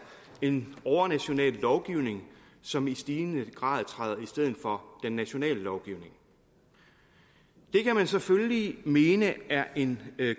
en overnational lovgivning som i stigende grad træder i stedet for den nationale lovgivning det kan man selvfølgelig mene er en